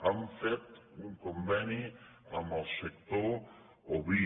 hem fet un conveni amb el sector oví